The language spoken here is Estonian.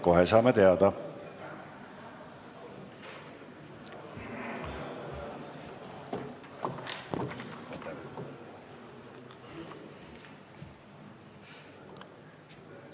Kohe saame teada.